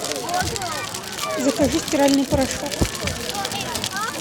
закажи стиральный порошок